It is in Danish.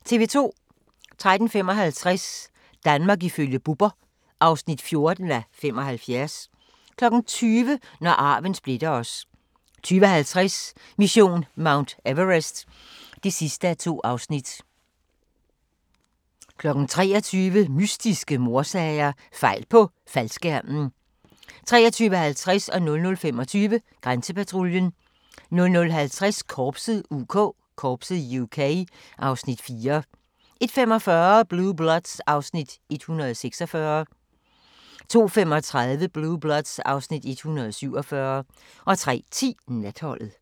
13:55: Danmark ifølge Bubber (14:75) 20:00: Når arven splitter os 20:50: Mission Mount Everest (2:2) 23:00: Mystiske mordsager: Fejl på faldskærmen 23:50: Grænsepatruljen 00:25: Grænsepatruljen 00:50: Korpset (UK) (Afs. 4) 01:45: Blue Bloods (Afs. 146) 02:35: Blue Bloods (Afs. 147) 03:10: Natholdet